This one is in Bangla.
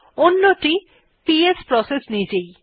অন্যটি পিএস প্রসেস নিজেই